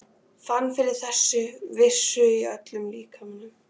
Fann fyrir þeirri vissu í öllum líkamanum.